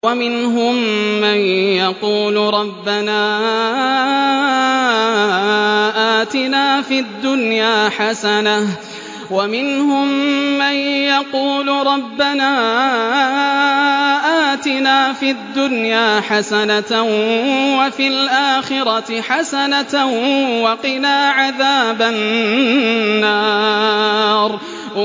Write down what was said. وَمِنْهُم مَّن يَقُولُ رَبَّنَا آتِنَا فِي الدُّنْيَا حَسَنَةً وَفِي الْآخِرَةِ حَسَنَةً وَقِنَا عَذَابَ النَّارِ